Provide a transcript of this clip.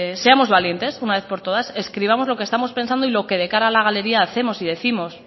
seamos valientes una vez por todas escribamos lo que estamos pensando y lo que de cara a la galería hacemos y décimos